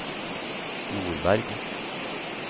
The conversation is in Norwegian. Nordberg